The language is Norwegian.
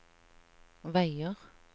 veier